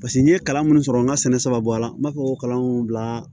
Paseke n ye kalan minnu sɔrɔ n ka sɛnɛ saba bɔla n b'a fɔ ko kalan bila